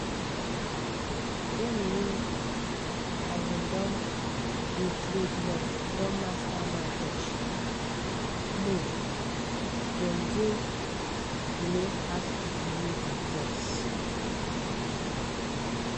dem wey um don dey trade long don master market um mood dem gain um pass people wey dey guess.